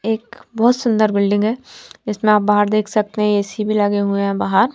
एक बहुत सुंदर बिल्डिंग है इसमें आप बाहर देख सकते हैं ए_सी भी लगे हुए हैं बाहर।